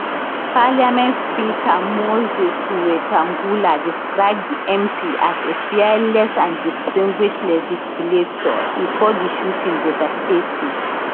parliament speaker moses wetangula describe di mp as a fearless and distinguished legislator e call di shooting devastating